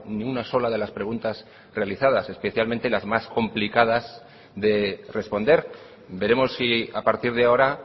ni una sola de las preguntas realizadas especialmente las más complicadas de responder veremos si a partir de ahora